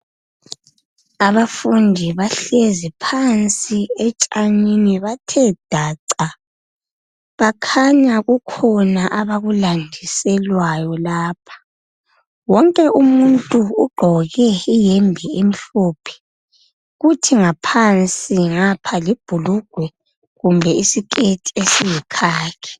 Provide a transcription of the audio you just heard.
Abafundi bahlezi phansi etshanini bathe daca bakhanya kukhona abakulandiselwayo lapha. Wonke umuntu ugqoke iyembe emhlophe kuthi ngaphansi ngapha libhulugwe kumbe isiketi esiyikhakhi